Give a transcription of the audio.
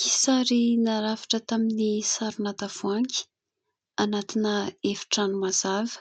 Kisary narafitra tamin'ny sarona tavoahangy, anatina efitrano mazava,